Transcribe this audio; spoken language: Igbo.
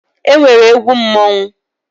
E nwere egwu mmọnwụ.